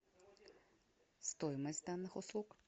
стоимость данных услуг